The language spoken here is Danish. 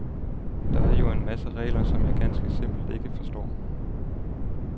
Der er jo en masse regler, som jeg ganske simpelt ikke forstår.